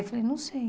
Eu falei, não sei.